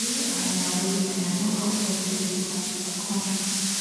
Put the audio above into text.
wey im wey im no longer dey welcome to our kontri